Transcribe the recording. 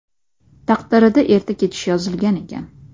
Taqdirida erta ketish yozilgan ekan.